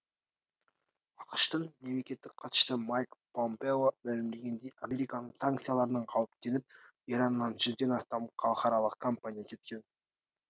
ақш тың мемлекеттік хатшысы майк помпео мәлімдегендей американың санкцияларынан қауіптеніп ираннан жүзден астам халықаралық компания кеткен